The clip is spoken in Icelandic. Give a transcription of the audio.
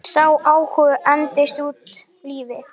Sá áhugi entist út lífið.